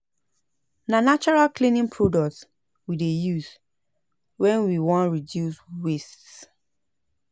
Na natural cleaning products we dey use wen we wan reduce waste.